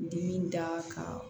Dimi da ka